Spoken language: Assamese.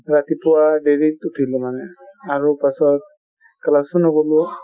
ৰাতিপুৱা দেৰিত উঠিলো মানে , আৰু পাছত class ও নগলো |